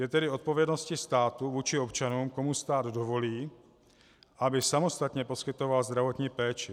Je tedy odpovědností státu vůči občanům, komu stát dovolí, aby samostatně poskytoval zdravotní péči.